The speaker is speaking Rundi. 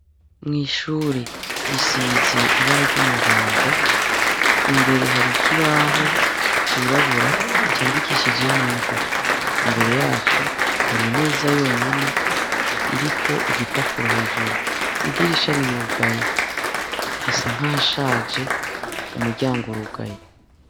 Mw'ishure risize ibara ry'umuhondo, imbere hari ikibaho cirabura candikishije hingwa, imbere yaco hari imeza yonyene iriko igipapuro hejuru, idirisha rirugaye, hasa nkahashaje umuryango urugaye.